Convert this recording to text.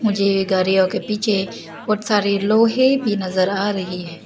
मुझे ये गाड़ियों के पीछे बहुत सारे लोहे भी नजर आ रहे हैं।